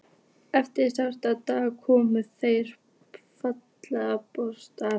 Eftir sextán daga komu þeir feðgar að borgarmúrum